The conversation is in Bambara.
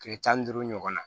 Kile tan ni duuru ɲɔgɔn na